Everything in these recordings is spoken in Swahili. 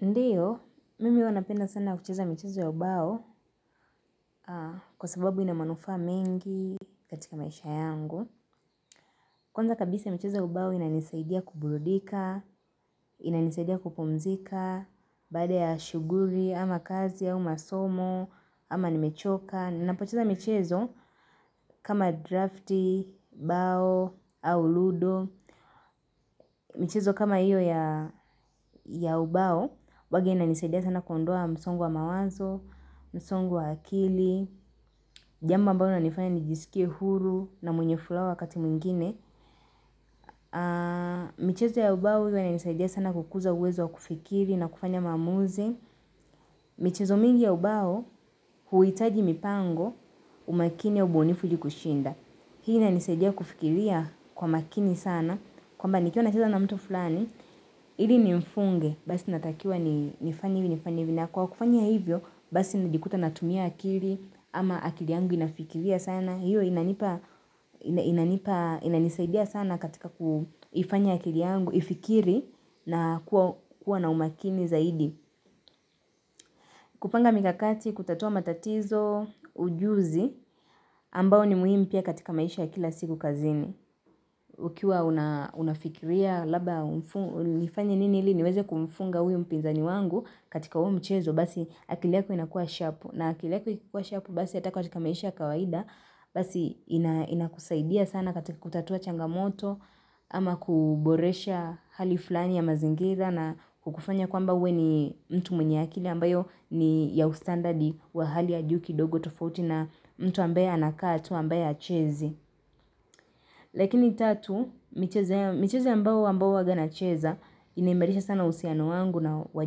Ndio, mimi hua napenda sana kucheza michezo ya ubao kwa sababu ina manufaa mengi katika maisha yangu. Kwanza kabisa michezo ya ubao inanisaidia kuburudika, inanisaidia kupumzika, baada ya shughuli, ama kazi au masomo, ama nimechoka. Ninapocheza michezo kama drafti, bao, au ludo. Michezo kama iyo ya ubao, hua inanisadia sana kuonda msongo wa mawazo, msongo wa akili, jambo ambalo nalifanya nijisikie huru na mwenye furaha wakati mwingine. Michezo ya ubao hua ina nisaidia sana kukuza uwezo wa kufikiri na kufanya maamuzi. Michezo mingi ya ubao, huitaji mipango, umakini ya ubunifu ili kushinda. Hii inanisaidia kufikiria kwa makini sana, kwamba nikiwa nacheza na mtu fulani, ili nimfunge, basi inatakiwa nifanye, hivi nifanye hivi, na kwa kufanya hivyo, basi nijikuta natumia akili, ama akili yangu inafikiria sana, hiyo inanipa, inanisaidia sana katika kufanya akili yangu, ifikiri na kuwa na umakini zaidi. Kupanga mikakati kutatua matatizo ujuzi ambao ni muhimu pia katika maisha ya kila siku kazini. Ukiwa unafikiria labda nifanye nini ili niweze kumfunga huyo mpinzani wangu katika huo mchezo basi akili yako inakua sharp. Na akili yako ikikua sharp basi ata katika maisha ya kawaida basi inakusaidia sana katika kutatua changamoto ama kuboresha hali flani ya mazingira na kukufanya kwamba uwe ni mtu mwenye akili. Ambayo ni ya ustandard wa hali ya juu kidogo tofauti na mtu ambaye anakaa tu, ambaye hachezi. Lakini tatu, michezo ambayo huwaga nacheza, inaimarisha sana uhusiano wangu na wa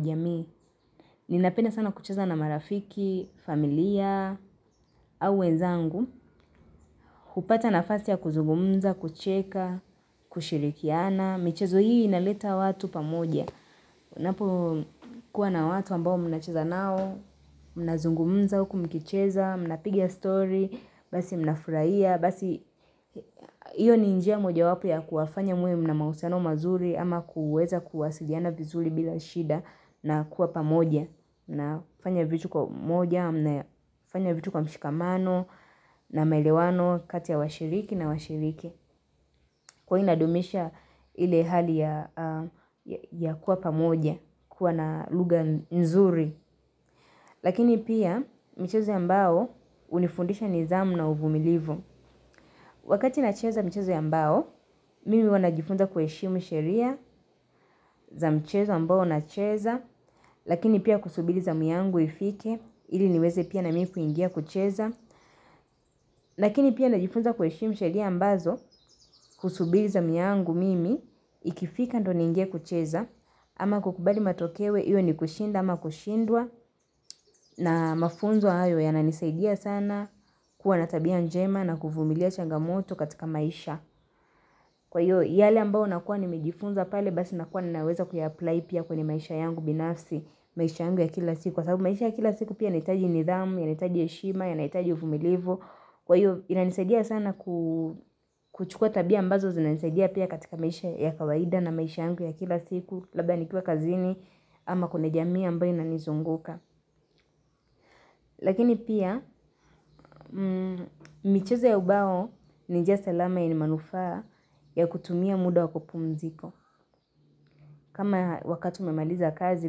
jamii. Ninapenda sana kucheza na marafiki, familia, au wezangu, hupata nafasi ya kunzugumza, kucheka, kushirikiana. Michezo hii inaleta watu pamoja. Unapo kuwa na watu ambao mnacheza nao, mnazungumza huku mkicheza, mna piga story, basi mnafurahia, basi iyo ni njia moja wapo ya kuwafanya muwe mna mausiano mazuri ama kuweza kuwasiliana vizuri bila shida na kuwa pamoja. Na fanya vitu kwa umoja, mnafanya vitu kwa mshikamano na maelewano kati ya washiriki na washiriki. Kwa inadumisha ile hali ya kuwa pamoja, kuwa na lugha nzuri. Lakini pia michezo ya mbao hunifundisha nidhamu na uvumilivu. Wakati na cheza michezo ya mbao, mimi hua najifunza kueshimu sheria za mchezo ambao nacheza. Lakini pia kusubili zamu yangu ifike Ili niweze pia na mimi kuingia kucheza lakini pia najifunza kuheshimu sheria ambazo husubiza zamu yangu mimi Ikifika ndio ningie kucheza ama kukubali matokeo Iyo ni kushinda ama kushindwa na mafunzo hayo yananisaidia sana kuwa na tabia njema na kuvumilia changamoto katika maisha Kwa hiyo yale ambao nakuwa nimejifunza pale Basi nakuwa ninaweza kuyaplly pia kwenye maisha yangu binafsi maisha yangu ya kila siku Kwa sababu maisha ya kila siku pia yanahitaji nidhamu, ya nitaji heshima, yanahitaji uvumilivu. Kwa hiyo, inanisadia sana kuchukua tabia ambazo zinanisaidia pia katika maisha ya kawaida na maisha yangu ya kila siku. Labda nikue kazini ama kuna jamii ambayo inanizunguka. Lakini pia, michezeo ya ubao, ni njia salama yenye manufaa ya kutumia muda wakupumzika. Kama wakati umemaliza kazi,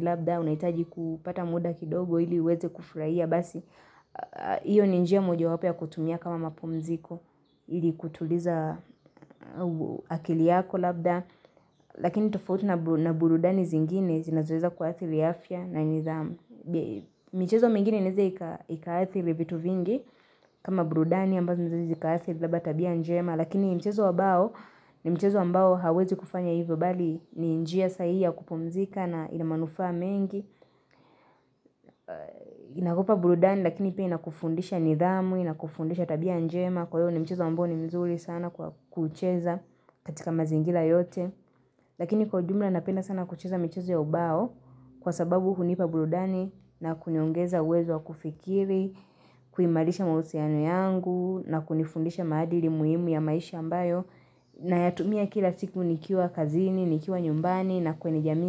labda unahitaji kupata muda kidogo ili uweze kufurahia. Basi, iyo ni njia mojawapo ya kutumia kama mapumziko Ili kutuliza akili yako labda Lakini tofauti na burudani zingine zinazoweza kuathiri afya na nidhamu michezo mingine inaeze ikaathiri vitu vingi kama burudani ambazo mzazi zikaathiri labda tabia njema Lakini michezo wa bao, ni mchezo ambao hauwezi kufanya hivyo bali ni njia sahihi ya kupumzika na ina manufaa mengi inakupa burudani lakini pia inakufundisha nidhamu inakufundisha tabia njema kwa hio ni mchezo ambao ni mzuri sana kucheza katika mazingira yote lakini kwa jumla napenda sana kucheza mchezo ya ubao kwa sababu hunipa burudani na kuniongeza uwezo wa kufikiri kuimarisha mahusiano yangu na kunifundisha maadili muhimu ya maisha ambayo nayatumia kila siku nikiwa kazini, nikiwa nyumbani na kwenye jamii.